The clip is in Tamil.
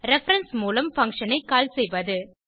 ரெஃபரன்ஸ் மூலம் பங்ஷன் ஐ கால் செய்வது